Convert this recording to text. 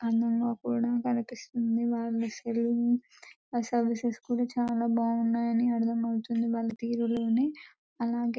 అందం గ కూడా కనిపిస్తుంది వాలు చాలా బాగున్నాయి అని అంటున్నారు వాళ తీరులోనే అలాగే ---